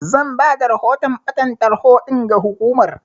Zan bada rahoton ɓatan tarho ɗin ga hukumar.